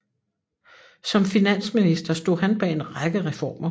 Som finansminister stod han bag en række reformer